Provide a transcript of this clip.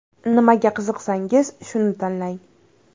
Nimaga qiziqsangiz, shuni tanlang.